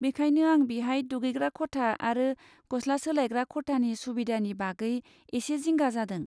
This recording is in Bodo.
बेखायनो आं बिहाय दुगैग्रा खथा आरो गस्ला सोलायग्रा खथानि सुबिदानि बागै एसे जिंगा जादों।